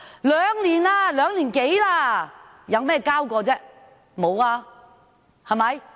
現已過了兩年多，他們交過些甚麼？